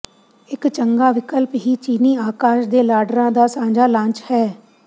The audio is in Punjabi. ਇਕ ਚੰਗਾ ਵਿਕਲਪ ਵੀ ਚੀਨੀ ਆਕਾਸ਼ ਦੇ ਲਾਡਰਾਂ ਦਾ ਸਾਂਝਾ ਲਾਂਚ ਹੈ